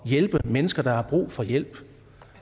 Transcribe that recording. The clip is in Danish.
hjælpe mennesker der har brug for hjælp